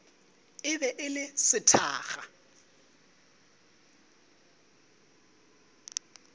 e be e le sethakga